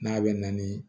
N'a bɛ na ni